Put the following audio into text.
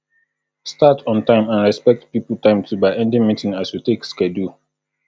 start on time and respect pipo time too by ending meeting as you take schedule